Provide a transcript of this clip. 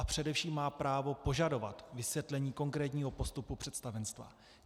A především má právo požadovat vysvětlení konkrétního postupu představenstva.